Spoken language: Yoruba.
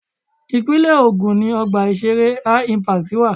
Ìpínlẹ̀ Ògùn ni Ọgbà ìṣeré HI-Impact wà.